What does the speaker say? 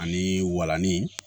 Ani walanin